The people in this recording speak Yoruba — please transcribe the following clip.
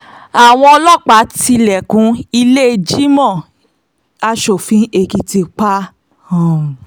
àwọn ọlọ́pàá tilẹ̀kùn ìlẹ́ẹ̀jìmọ́ asòfin èkìtì pa um